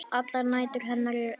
Allar nætur hennar eru eins.